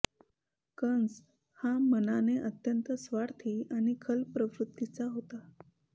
कंस हा मनाने अत्यंत स्वार्थी आणि खल प्रवृत्तीचाच होता